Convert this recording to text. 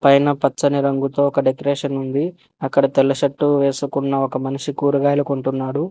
పైన పచ్చని రంగుతో ఒక డెకరేషన్ ఉంది అక్కడ తెల్ల షర్టు వేసుకున్న ఒక మనిషి కూరగాయలు కొంటున్నాడు.